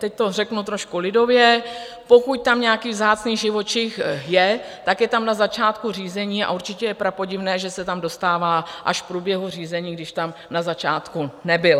Teď to řeknu trošku lidově, pokud tam nějaký vzácný živočich je, tak je tam na začátku řízení a určitě je prapodivné, že se tam dostává až v průběhu řízení, když tam na začátku nebyl.